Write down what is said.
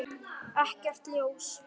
Ekkert ljós.